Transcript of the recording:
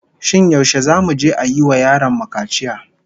Shin yaushe zamu je a yi wa yaron mu kaciya?